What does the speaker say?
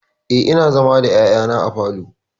Eh, ina zama da ƴaƴana a falo.